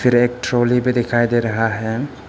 इधर एक ट्राली भी दिखाई दे रहा है।